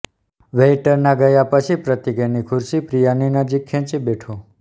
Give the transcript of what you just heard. વેઇટરનાં ગયા પછી પ્રતિક એની ખુરશી પ્રિયાની નજીક ખેંચી બેઠો